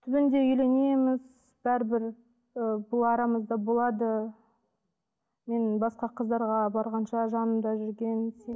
түбінде үйленеміз бәрібір ы бұл арамызда болады мен басқа қыздарға барғанша жанымда жүрген